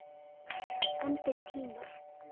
En þeir tímar!